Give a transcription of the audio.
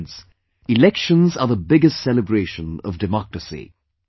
Friends, elections are the biggest celebration of democracy